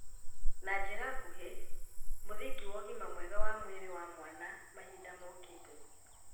Na njĩra nguhĩ, mũthingi wa ũgima mwega wa mwĩrĩ wa mwana mahinda mokĩte